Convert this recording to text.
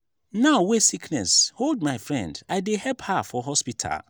now wey sickness hold my friend i dey help her for hospital.